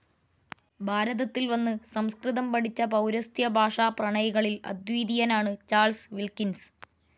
ഭാരതത്തിൽ വന്നു സംസ്കൃതം പഠിച്ച പൗരസ്ത്യഭാഷാപ്രണയികളിൽ അദ്വിതീയനാണ് ചാൾസ് വിൽകിൻസ്.